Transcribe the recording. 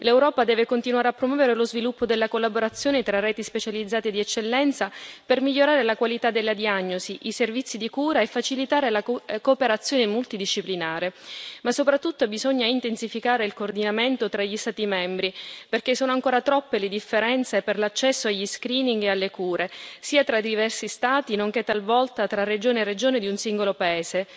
L'Europa deve continuare a promuovere lo sviluppo della collaborazione tra reti specializzate e di eccellenza per migliorare la qualità della diagnosi, i servizi di cura e facilitare la cooperazione multidisciplinare. Ma soprattutto bisogna intensificare il coordinamento tra gli Stati membri, perché sono ancora troppe le differenze per l'accesso agli screening e alle cure, sia tra i diversi Stati nonché talvolta tra regione e regione di un singolo paese.